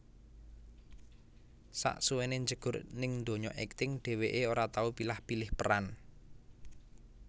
Sasuwené njegur ning donya akting dheweké ora tau pilah pilih peran